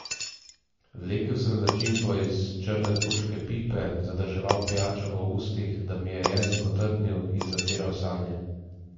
Vlekel sem začimbo iz črne turške pipe, zadrževal pijačo v ustih, da mi je jezik otrpnil, in zatiral sanje.